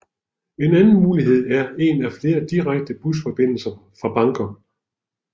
En anden mulighed er en af flere direkte busfordindelser fra Bangkok